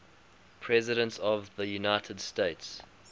presidents of the united states